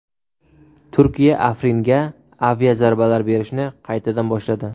Turkiya Afringa aviazarbalar berishni qaytadan boshladi .